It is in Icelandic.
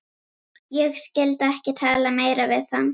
Ég skyldi ekki tala meira við hann.